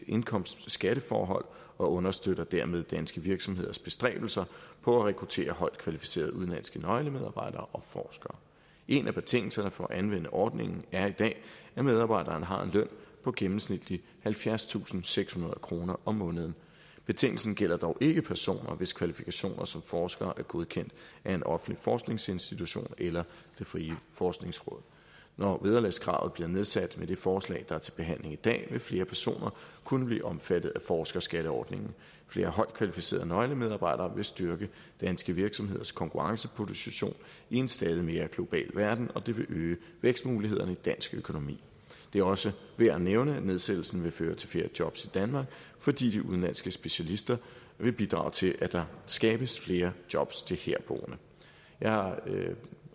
indkomstskatteforhold og understøtter dermed danske virksomheders bestræbelser på at rekruttere højt kvalificerede udenlandske nøglemedarbejdere og forskere en af betingelserne for at anvende ordningen er i dag at medarbejderen har en løn på gennemsnitligt halvfjerdstusinde og sekshundrede kroner om måneden betingelsen gælder dog ikke personer hvis kvalifikationer som forskere er godkendt af en offentlig forskningsinstitution eller det frie forskningsråd når vederlagskravet bliver nedsat med det forslag der er til behandling i dag vil flere personer kunne blive omfattet af forskerskatteordningen flere højt kvalificerede nøglemedarbejdere vil styrke danske virksomheders konkurrenceposition i en stadig mere global verden og det vil øge vækstmulighederne i dansk økonomi det er også værd at nævne at nedsættelsen vil føre til flere job til danmark fordi de udenlandske specialister vil bidrage til at der skabes flere job til herboende jeg har